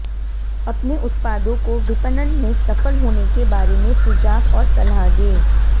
अपने उत्पादों को विपणन में सफल होने के बारे में सुझाव और सलाह दें